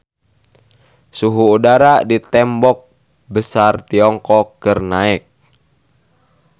Suhu udara di Tembok Besar Tiongkok keur naek